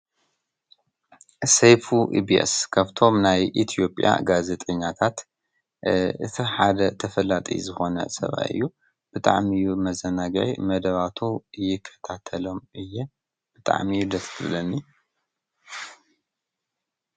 ሴይፉ ኢብስ ከብቶም ናይ ኢትዮጵያ ጋዘጠኛታት እቲ ሓደ ተፈላጥይ ዝኾነ ሰብይዩ ብጥዕሚእዩ መዘናግያይ መደባቱ እይከታተሎም እየ ብጥዓምእዩ ደስልብለኒ።